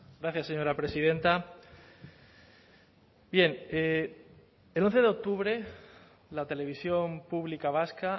gracias señora presidenta bien el once de octubre la televisión pública vasca